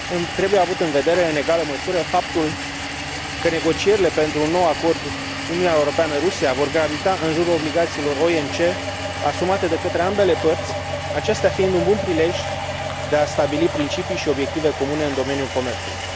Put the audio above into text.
Trebuie avut în vedere în egală măsură faptul că negocierile pentru un nou acord Uniunea Europeană Rusia vor gravita în jurul obligațiilor OMC asumate de către ambele părți, acestea fiind un bun prilej de a stabili principii și obiective comune în domeniul comerțului.